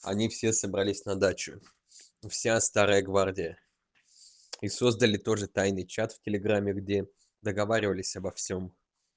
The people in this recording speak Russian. они все собрались на дачу вся старая гвардия и создали тоже тайный чат в телеграме где договаривались обо всём